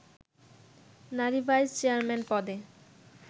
নারী vice chairman পদে